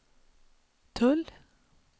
tull